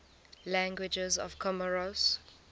languages of comoros